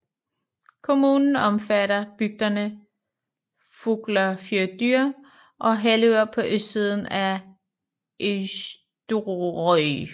Kommunen omfatter bygderne Fuglafjørður og Hellur på østsiden af Eysturoy